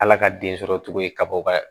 Ala ka den sɔrɔ cogo ye kabaw ka